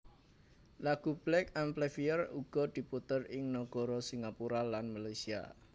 Lagu Black Amplifier uga diputèr ing nagari Singapura lan Malaysia